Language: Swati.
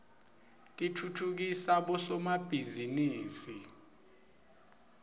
titfutfukisa bosomabhizinisi